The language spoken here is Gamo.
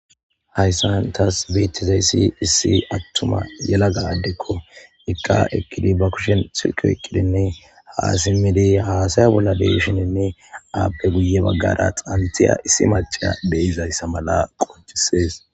Haysan tas betizaysi issi attima yelaga addekoika rkidi ba kushem Silke oykidinne hasaya bolla deshininne ape guye bagara xanthiya issi maciya de'izaysa Mal qopisses.